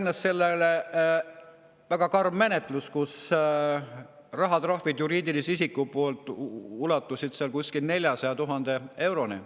Seni pidi sellele järgnema väga karm menetlus, kus juriidilise isiku puhul ulatusid rahatrahvid kuskil 400 000 euroni.